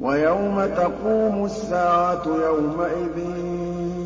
وَيَوْمَ تَقُومُ السَّاعَةُ يَوْمَئِذٍ